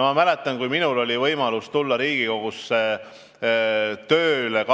Ma mäletan, et kui mul oli võimalus tulla 2007. aastal Riigikogusse tööle,